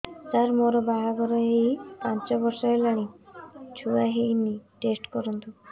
ସାର ମୋର ବାହାଘର ହେଇ ପାଞ୍ଚ ବର୍ଷ ହେଲାନି ଛୁଆ ହେଇନି ଟେଷ୍ଟ କରନ୍ତୁ